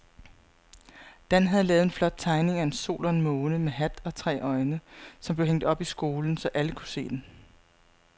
Dan havde lavet en flot tegning af en sol og en måne med hat og tre øjne, som blev hængt op i skolen, så alle kunne se den.